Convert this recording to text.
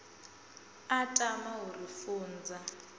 a tama u ri funza